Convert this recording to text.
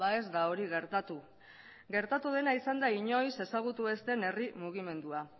ez da hori gertatu gertatu dena izan da inoiz ezagutu ez den herri mugimendua